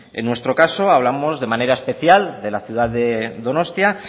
en nuestro caso hablamos de manera especial de la ciudad de donostia